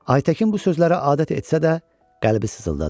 Aytəkin bu sözlərə adət etsə də, qəlbi sızıldadı.